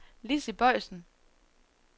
Lizzi Boysen